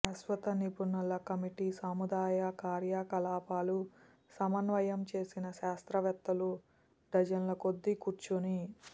శాశ్వత నిపుణుల కమిటీ సముదాయ కార్యకలాపాలు సమన్వయం చేసిన శాస్త్రవేత్తలు డజన్ల కొద్దీ కూర్చుని